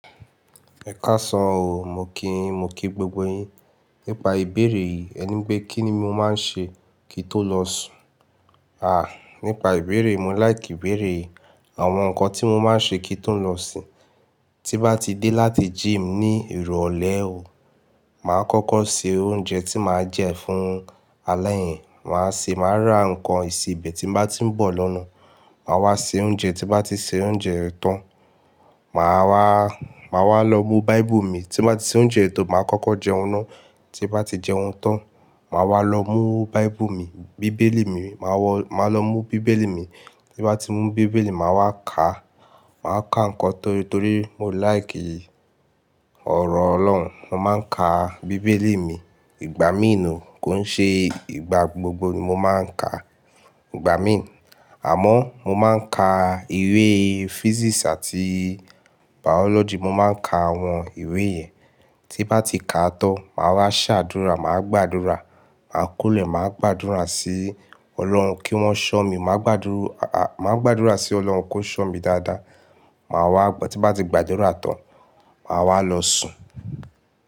Ẹ káàsán o, mo kí yín, mo kí gbogbo yín. Nípa ìbéèrè yìí, ẹ ní pé kí ni mo máa ń ṣe kí tó lọ sùn? À, nípa ìbéèrè, mo láì kí béèrè àwọn nǹkan tí mo máa ń ṣe kí tó lọ sín. Tí bá ti dé láti gym ní ìrọ̀lẹ́ o, màá kókó ṣe oúnjẹ tí màá jẹ fún alẹ́ yẹn. Màá ṣe, màá ra nǹkan ìsebẹ̀ tí bá ti ń bọ̀ lọ́nà. Màá wá ṣe oúnjẹ, tí bá ti ṣe oúnjẹ tán, màá wá, màá wá lọ mú báíbù mi. Tí bá ti ṣe oúnjẹ tó, màá kókó jẹun ná. Tí bá ti jẹun tán, màá wá lọ mú báíbù mi, bíbélì mi, màá wó màà lọ mú bíbélì mi. Tí bá ti mú bíbélì, màá wá ká, màá ká nǹkan torí torí mo láì kí ọ̀rọ̀ Ọlọ́run. Mo máa ń ka bíbélì mi ìgbà míì ni kò ń ṣe ìgbà gbogbo ni mo máa ń ka ìgbà míì. Àmọ́ mo máa ń ka ìwé physics àti biology, mo máa ń ka àwọn ìwé yẹn. Tí bá ti ka tán, màá wá ṣàdúrà, màá gbàdúrà. Màá kunle, màá gbàdúrà sí Ọlọ́run kí wọ́n ṣọ́ mi. Màá gbàdú, màá gbàdúrà sí Ọlọ́run kó ṣọ́ mi dáadáa. Màá wá gbà, tí ń bá ti gbàdúrà tán, màá wá lọ sùn.